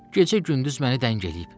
Gecə-gündüz məni dəng eləyib.